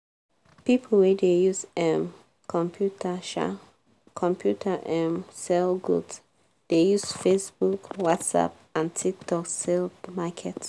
student wey dey depend ontop scholarship too much no go sabi manage money um well. um